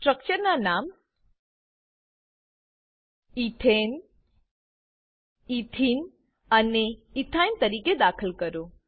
structure ના નામ ethane ethene અને એથીને ઈથેન ઇથીન ઇથાઇન તરીકે દાખલ કરો